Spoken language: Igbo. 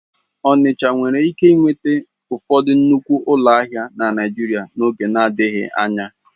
Ọnịcha nwere ike nweta ụfọdụ nnukwu ụlọ ahịa na Naịjirịa n'oge adịghị anya.